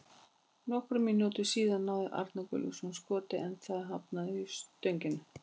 Nokkrum mínútum síðar náði Arnar Gunnlaugsson skoti en það hafnaði í stönginni.